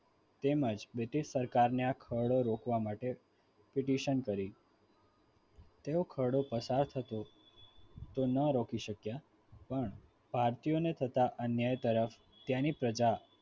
તેમજ british સરકારને આ ખરડો રોકવા માટે pidition કરી તેઓ ખરડો પસાર થતો તો ન રોકી શક્યા પણ ભારતીયોને થતા અન્યાય તરફ ત્યાંની પ્રજા